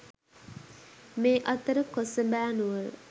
මේ අතර කොසඹෑ නුවර